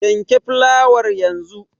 Yanke fitowar yanzu.